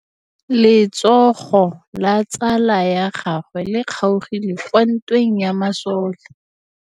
Letsôgô la tsala ya gagwe le kgaogile kwa ntweng ya masole.